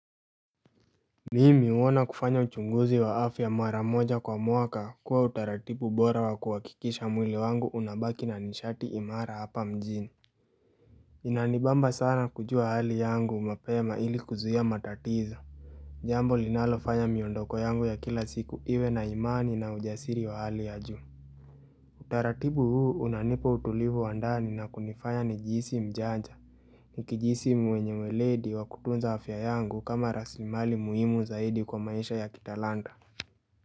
Mimi huona kufanya uchunguzi wa afya mara moja kwa mwaka kuwa utaratibu bora wa kuhakikisha mwili wangu unabaki na nishati imara hapa mjini inanibamba sana kujua hali yangu mapema ili kuzuia matatizo. Jambo linalofanya miondoko yangu ya kila siku iwe na imani na ujasiri wa hali ya juu Utaratibu huu unanipa utulivu wa ndani na kunifanya nijihisi mjanja ukijihisi mwenye weledi wa kutunza afya yangu kama rasimali muhimu zaidi kwa maisha ya kitalanta.